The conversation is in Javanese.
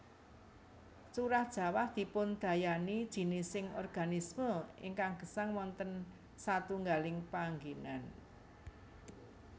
Curah jawah dipundayani jinising organisme ingkang gesang wonten satunggaling panggènan